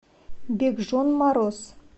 бекжон мороз